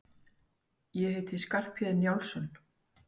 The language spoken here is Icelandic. Ég heiti Skarphéðinn Njálsson!